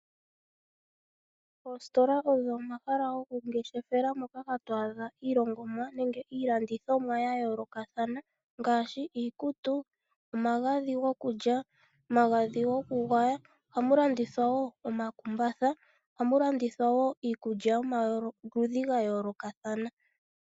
Oositola odho omahala gokungeshefela, moka hatwaadha iilongomwa nenge iilandithomwa ya yoolokathana ngaashi iikutu, omagadhi gokulya, omagadhi gokugwaya ohamu landithwa woo omakumbatha niikulya yomaludhi gayolokathana.